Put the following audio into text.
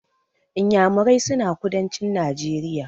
Inyamurai suna kudancin Najeriya.